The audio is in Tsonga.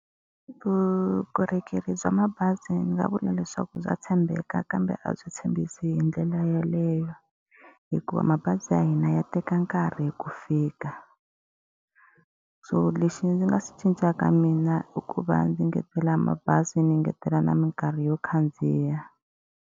Vukorhokeri bya mabazi ndzi nga vula leswaku bya tshembeka kambe a byi tshembisi hi ndlela yeleyo. Hikuva mabazi ya hina ya teka nkarhi ku fika. So lexi ndzi nga swi cincaka mina i ku va ndzi engetela mabazi, ndzi engetela na minkarhi yo khandziya.